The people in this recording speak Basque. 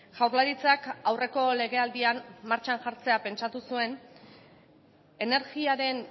jaurlaritzak aurreko legealdian martxan jartzea pentsatu zuen energiaren